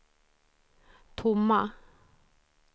tomma